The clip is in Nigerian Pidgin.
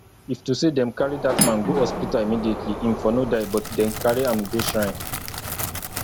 if to say dem carry dat man go hospital immediately im for no die but dem carry am go shrine